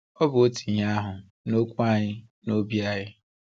Ọ bụ otu ihe ahụ na okwu anyị na obi anyị.